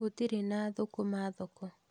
Gũtirĩ na thũkũma thoko